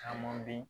Caman bɛ yen